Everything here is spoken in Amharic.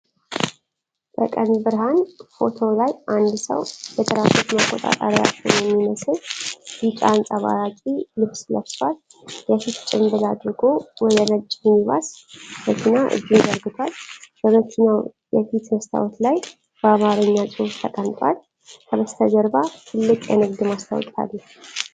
በቀን ብርሃን፣ ፎቶው ላይ አንድ ሰው የትራፊክ መቆጣጠሪያ ሹም የሚመስል ቢጫ አንጸባራቂ ልብስ ለብሷል። የፊት ጭምብል አድርጎ ወደ ነጭ ሚኒባስ መኪና እጁን ዘርግቷል። በመኪናው የፊት መስታወት ላይ በአማርኛ ጽሑፍ ተቀምጧል። ከበስተጀርባ ትልቅ የንግድ ማስታወቂያ አለ።